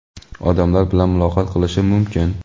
odamlar bilan muloqot qilishi mumkin.